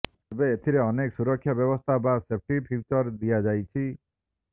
ଏବେ ଏଥିରେ ଅନେକ ସୁରକ୍ଷା ବ୍ୟବସ୍ଥା ବା ସେଫ୍ଟି ଫିଚରସ୍ ଦିଆଯାଇଛି